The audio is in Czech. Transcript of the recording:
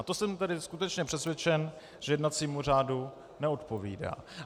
A to jsem tedy skutečně přesvědčen, že jednacímu řádu neodpovídá.